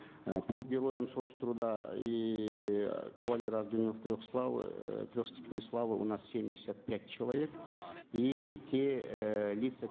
э по героям соц труда и кавалеры орденов трех славы э трех степеней славы у нас семьдесят пять человек и те э лица